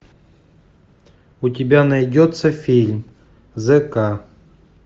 у тебя найдется фильм з к